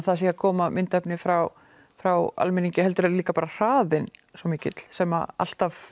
það sé að koma myndefni frá frá almenningi heldur er það líka hraðinn svo mikill sem alltaf